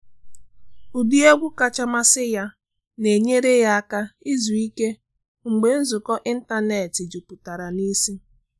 Ụdị egwu kacha amasị ya na enyere ya aka izu ike mgbe nzukọ n’ịntanetị juputara n’isi